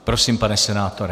Prosím, pane senátore.